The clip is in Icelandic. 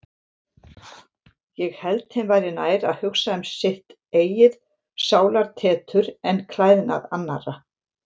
Ég held þeim væri nær að hugsa um sitt eigið sálartetur en klæðnað annarra.